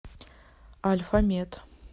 альфа мед